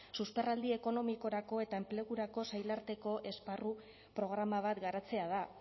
susperraldi ekonomikorako eta enplegurako sail arteko esparru programa bat garatzea da